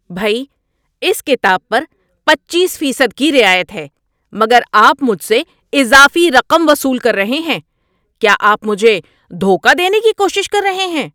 بھئی! اس کتاب پر پچیس فیصد کی رعایت ہے مگر آپ مجھ سے اضافی رقم وصول کر رہے ہیں۔ کیا آپ مجھے دھوکہ دینے کی کوشش کر رہے ہیں؟